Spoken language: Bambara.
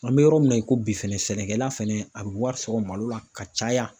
An bɛ yɔrɔ min na i ko bi fɛnɛ, sɛnɛkɛla fɛnɛ a bɛ wari sɔrɔ malo la ka caya.